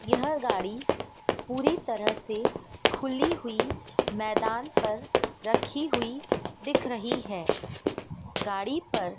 यह गाड़ी पूरी तरह से खुली हुई मैदान पर रखी हुई दिख रही हैं। गाड़ी पर--